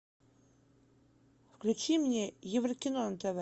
включи мне еврокино на тв